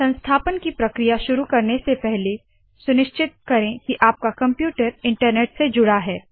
संस्थापन की प्रक्रिया शुरू करने से पहले सुनिश्चित करे की आपका कंप्यूटर इन्टरनेट से जुड़ा है